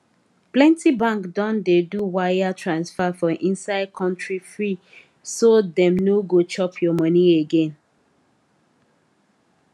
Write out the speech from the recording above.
plenty bank don dey do wire transfer for inside country free so dem no go chop your money again